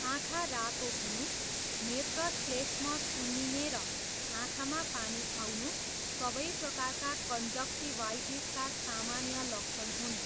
आँखा रातो हुनु, नेत्रश्लेष्म सुन्निने र आँखामा पानी आउनु सबै प्रकारका कन्जन्क्टिवाइटिसका सामान्य लक्षण हुन्।